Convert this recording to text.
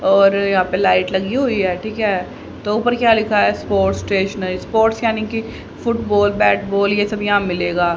और यहां पे लाइट लगी हुई है ठीक है तो ऊपर क्या लिखा है स्पोर्ट्स स्टेशनरी स्पोर्ट्स यानी कि फुटबॉल बैट बॉल यह सब यहां मिलेगा।